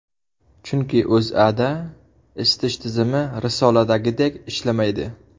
Chunki O‘zAda isitish tizimi risoladagidek ishlamaydi.